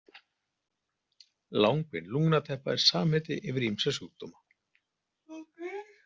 Langvinn lungnateppa er samheiti yfir ýmsa sjúkdóma.